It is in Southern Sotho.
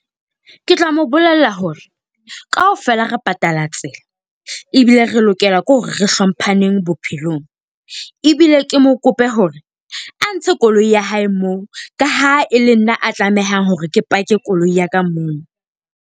Ke tla mo bolella hore kaofela re patala tsela, ebile re lokela ke hore re hlompaneng bophelong. Ebile ke mo kope hore a ntshe koloi ya hae moo ka ha e le nna a tlamehang hore ke pake koloi ya ka mono.